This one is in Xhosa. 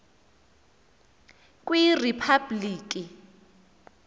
kwiriphabliki